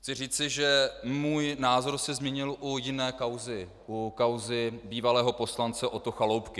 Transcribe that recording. Chci říci, že můj názor se změnil u jiné kauzy, u kauzy bývalého poslance Otto Chaloupky.